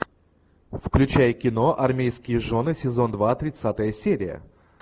включай кино армейские жены сезон два тридцатая серия